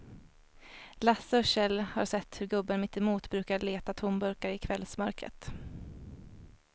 Lasse och Kjell har sett hur gubben mittemot brukar leta tomburkar i kvällsmörkret.